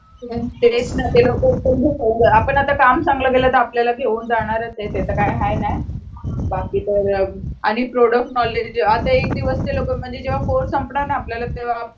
तेच ना ते लोक पण घेऊन जाणार जर आपण आता काम चांगल केल तर आपल्याला घेऊन जाणारच आहे ते तर काय हाय नाय बाकी तर आणि प्रोडक्ट नॉलेज जेव्हा कोर्से संपणार ना तेव्हा आपल्याला